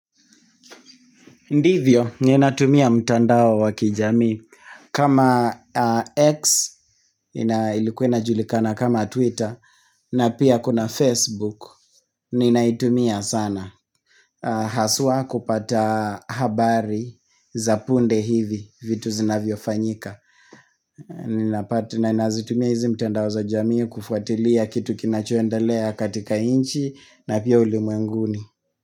Ndivyo ninatumia mtandao wa kijamii kama X ilikuwa inajulikana kama Twitter na pia kuna Facebook Ninaitumia sana Haswa kupata habari za punde hivi vitu zinavyo fanyika nazitumia hizi mtandao za jamii kufuatilia kitu kinachoendelea katika inchi na pia ulimwenguni.